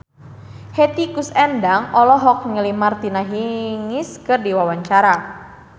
Hetty Koes Endang olohok ningali Martina Hingis keur diwawancara